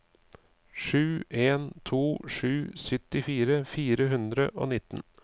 sju en to sju syttifire fire hundre og nitten